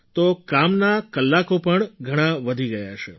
તો કામના કલાકો પણ ઘણા વધી ગયા હશે